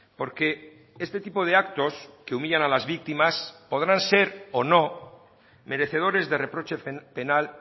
porque este tipo de actos que humillan a las víctimas podrán ser o no merecedores de reproche penal